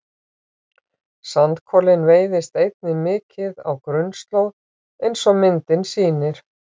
Sandkolinn veiðist einnig mikið á grunnslóð eins og myndin sýnir.